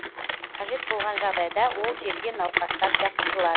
қажет болған жағдайда ол жерге науқастар жатқызылады